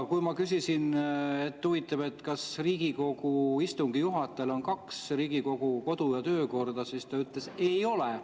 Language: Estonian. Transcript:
Kui ma küsisin, et huvitav, kas Riigikogu istungi juhatajatel on kaks Riigikogu kodu‑ ja töökorda, siis ta ütles, et ei ole.